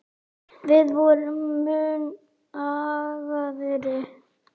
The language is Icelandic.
Við vorum mun agaðri.